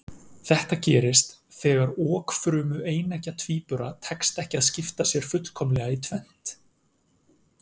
Þetta gerist þegar okfrumu eineggja tvíbura tekst ekki að skipta sér fullkomlega í tvennt.